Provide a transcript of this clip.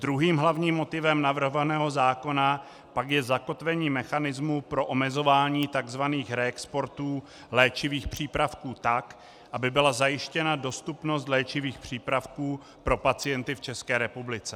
Druhým hlavním motivem navrhovaného zákona pak je zakotvení mechanismu pro omezování tzv. reexportů léčivých přípravků tak, aby byla zajištěna dostupnost léčivých přípravků pro pacienty v České republice.